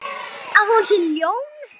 Að hún sé ljón.